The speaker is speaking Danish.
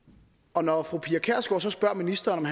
og når fru pia kjærsgaard så spørger ministeren